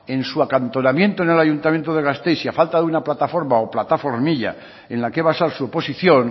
en su acantonamiento en el ayuntamiento de gasteiz y a falta de una plataforma o plataformilla en la que basar su oposición